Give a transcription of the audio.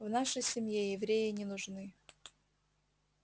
в нашей семье евреи не нужны